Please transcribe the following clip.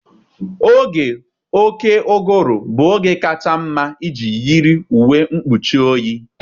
Oge oké ụgụrụ bụ oge kacha mma iji yiri uwe mgbochi oyi.